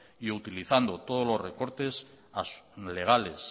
y utilizando